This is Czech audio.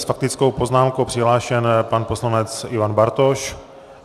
S faktickou poznámkou přihlášen pan poslanec Ivan Bartoš.